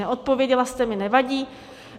Neodpověděla jste mi, nevadí.